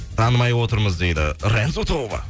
танымай отырмыз дейді рензо тобы